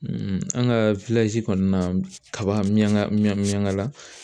an ka kɔnɔna kaba miyankala